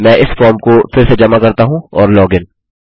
मैं इस फॉर्म को फिर से जमा करता हूँ और लॉगिन